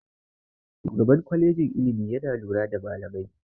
Shugaban kwalejin ilimi yana lura da malamai.